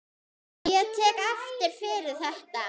Ég tek ekki fyrir þetta.